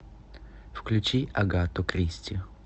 включи агату кристи